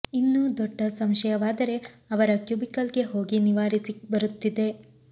ಇನ್ನೂ ದೊಡ್ಡ ಸಂಶಯವಾದರೆ ಅವರ ಕ್ಯುಬಿಕಲ್ ಗೆ ಹೋಗಿ ನಿವಾರಿಸಿ ಬರುತಿದ್ದೆ